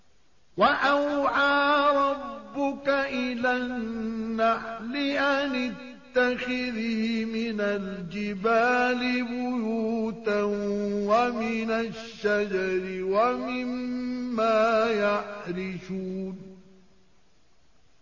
وَأَوْحَىٰ رَبُّكَ إِلَى النَّحْلِ أَنِ اتَّخِذِي مِنَ الْجِبَالِ بُيُوتًا وَمِنَ الشَّجَرِ وَمِمَّا يَعْرِشُونَ